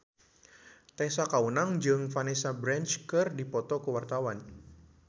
Tessa Kaunang jeung Vanessa Branch keur dipoto ku wartawan